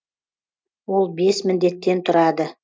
ол бес міндеттен тұрады